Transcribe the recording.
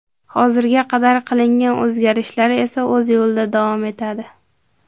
Hozirga qadar qilingan o‘zgarishlar esa o‘z yo‘lida davom etadi.